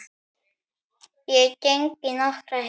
Ég geng í nokkrar hel